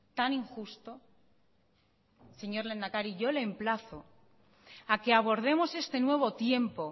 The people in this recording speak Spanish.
tan injusto señor lehendakari yo le emplazo a que abordemos este nuevo tiempo